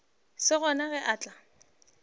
se gona ge a tla